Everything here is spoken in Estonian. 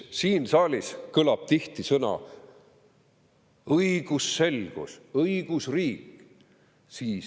Siin saalis kõlavad tihti sõnad "õigusselgus" ja "õigusriik".